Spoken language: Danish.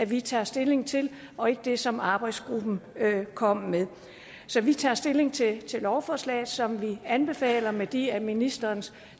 vi tager stilling til og ikke det som arbejdsgruppen kom med så vi tager stilling til lovforslaget som vi anbefaler med de af ministeren